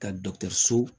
Ka dɔkɔtɔrɔso